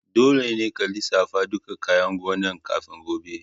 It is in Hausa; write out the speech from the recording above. Dolle ka lissafa ɗukan kayan gonan' kafin gobe!